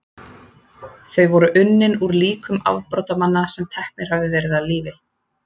Þau voru unnin úr líkum afbrotamanna sem teknir höfðu verið af lífi.